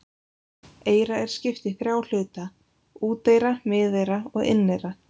Eyra er skipt í þrjá hluta: úteyra, miðeyra og inneyra.